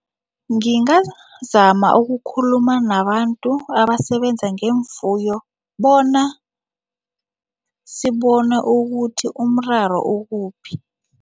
Ngingazama ukukhuluma nabantu abasebenza ngeemfuyo bona sibone ukuthi umraro ukuphi.